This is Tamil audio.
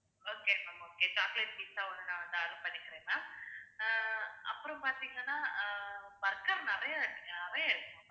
okay ma'am okay chocolate pizza ஒன்னு நான் வந்து order பண்ணிக்கிறேன் ma'am அஹ் அப்புறம் பாத்தீங்கன்னா அஹ் burger நிறைய~ நிறைய இருக்கு